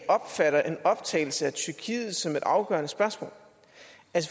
opfatter en optagelse af tyrkiet som et afgørende spørgsmål